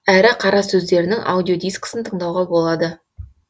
әрі қара сөздерінің аудиодискісін тыңдауға болады